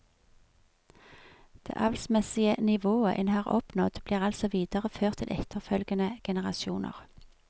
Det avlsmessige nivået en har oppnådd blir altså videreført til etterfølgende generasjoner.